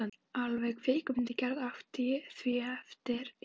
Alvarleg kvikmyndagerð átti því erfitt uppdráttar.